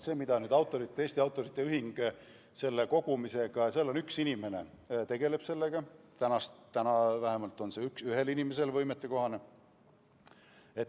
Eesti Autorite Ühingus on üks inimene, kes selle kogumisega tegeleb ja praegu vähemalt on see sellele ühele inimesele võimetekohane.